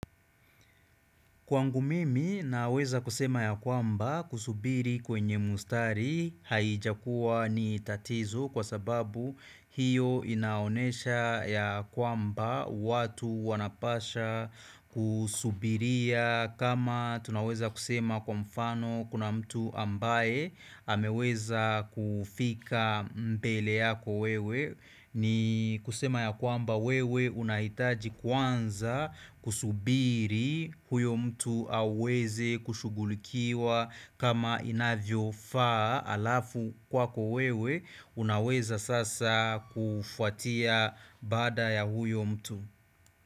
Kwangu mimi naweza kusema ya kwamba kusubiri kwenye mstari haijakuwa ni tatizo kwa sababu hiyo inaonesha ya kwamba watu wanapaswa kusubiria. Kama tunaweza kusema kwa mfano kuna mtu ambaye ameweza kufika mbele yako wewe ni kusema ya kwamba wewe unahitaji kwanza kusubiri huyo mtu aweze kushugulikiwa kama inavyofaa alafu kwako wewe unaweza sasa kufuatia bada ya huyo mtu.